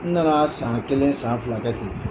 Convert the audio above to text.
N nana san kelen san fila kɛ ten